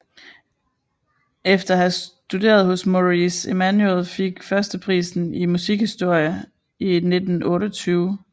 Efter at have studeret hos Maurice Emmanuel fik han førsteprisen i musikhistorie i 1928